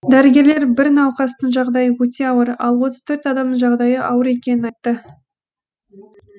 дәрігерлер бір науқастың жағдайы өте ауыр ал отыз төрт адамның жағдайы ауыр екенін айтты